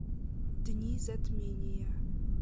дни затмения